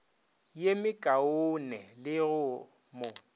ye mekaone le go mo